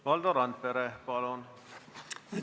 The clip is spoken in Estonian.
Valdo Randpere, palun!